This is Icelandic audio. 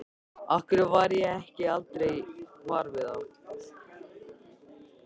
Af hverju varð ég aldrei var við það?